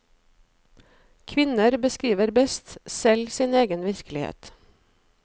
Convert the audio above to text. Kvinner beskriver best selv sin egen virkelighet.